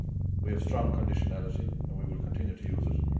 We have strong conditionality and we will continue to use it.